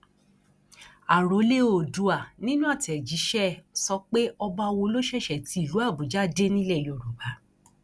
àròlé oòdùà nínú àtẹjíṣẹ ẹ sọ pé ọba wo ló ṣẹṣẹ ti ìlú àbújá dé nílẹ yorùbá